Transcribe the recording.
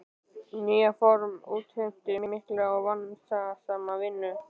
Þetta nýja form útheimti mikla og vandasama vinnu.